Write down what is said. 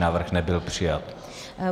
Návrh nebyl přijat.